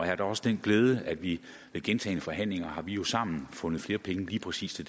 har da også den glæde at vi i gentagne forhandlinger sammen har fundet flere penge lige præcis til